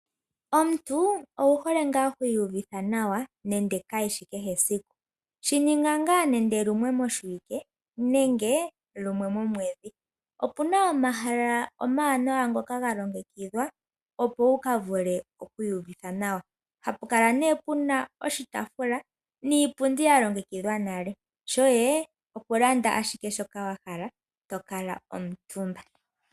Omuntu owuhole nga hwiyuvitha nawa nande kehe esiku, shininga nga nande lumwe moshiwike nenge lumwe momwedhi, opuna omahala omanawa ngoka ngalongekithwa opo wukavule okwiyuvitha nawa, hapukala ne puna oshitafula niipundi yalongekithwa nale shoye okulanda ashike shoka wahala etokala omutumba.